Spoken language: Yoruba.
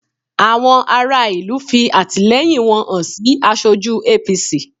Àwọn ará ìlú fi àtìlẹyìn wọn hàn sí aṣojú APC